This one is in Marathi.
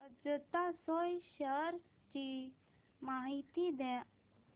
अजंता सोया शेअर्स ची माहिती द्या